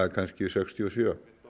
kannski sextíu og sjö